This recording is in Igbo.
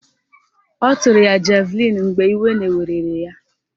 Ọ tụrụ ya javlịn mgbe iwe na-werere ya